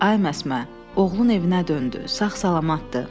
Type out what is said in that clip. Ay Məsmə, oğlun evinə döndü, sağ-salamatdır.